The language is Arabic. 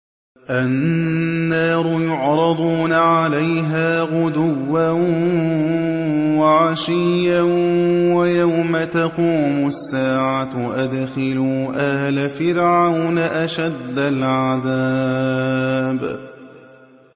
النَّارُ يُعْرَضُونَ عَلَيْهَا غُدُوًّا وَعَشِيًّا ۖ وَيَوْمَ تَقُومُ السَّاعَةُ أَدْخِلُوا آلَ فِرْعَوْنَ أَشَدَّ الْعَذَابِ